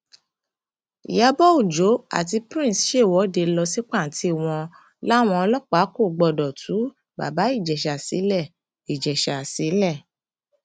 ìyàbọ ọjọ àti prince ṣèwọde lọ sí pàǹtí wọn láwọn ọlọpàá kò gbọdọ tú bàbá ìjẹsà sílẹ ìjẹsà sílẹ